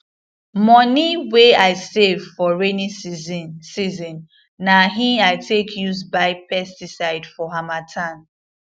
moni wey i save for rainy season season na hin i take use buy pesticide for harmattan